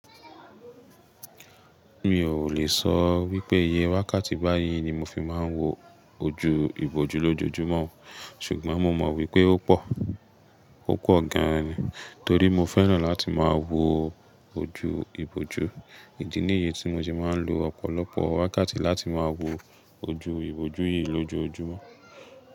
Mi ò lè sọ wípé iye wákàtí bá yín ni mo fi máa ń wo ojú ìbòjú lójojúmọ́, ṣùgbọ́n mo mọ̀ wípé ó pọ̀, ó pọ̀ gan-an ni. Torí mo fẹ́ràn láti máa wo ojú ìbòjú, ìdí nìyí tí mo ti máa ń lo ọ̀pọ̀lọpọ̀ wákàtí láti máa wo ojú ìbòjú yìí lójojúmọ́.